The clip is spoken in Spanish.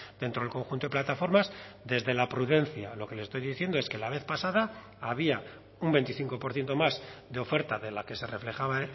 dentro del conjunto de plataformas desde la prudencia lo que le estoy diciendo es que la vez pasada había un veinticinco por ciento más de oferta de la que se reflejaba